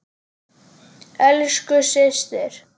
Elsku systir.